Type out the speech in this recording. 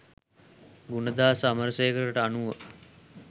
ගුණදාස අමරසේකරට අනුව